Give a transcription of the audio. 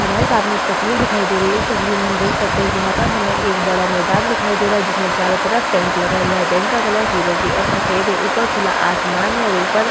हमारे सामने एक तस्वीर दिखाई दे रही है इस तस्वीर में हम देख सकते हैं यहाँ पर हमें एक बड़ा मैंदान दिखाई दे रहा है जिसमें चारों तरफ टेंट लगा हुआ है टेंट का कलर फिरोजी और सफ़ेद है और ऊपर खुला आसमान है और ऊपर --